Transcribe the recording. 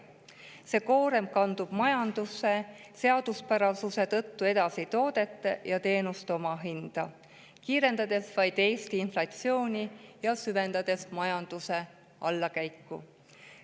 See koorem kandub majanduse seaduspärasuste tõttu edasi toodete ja teenuste omahinda, kiirendades vaid Eesti inflatsiooni ja süvendades majanduse allakäiku.